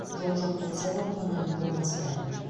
жол жоқ болса да қонақүй болмаса да